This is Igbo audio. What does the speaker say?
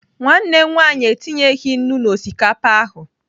Nwanne m nwaanyị etinyeghị nnu n'osikapa ahụ.